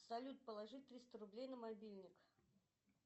салют положи триста рублей на мобильник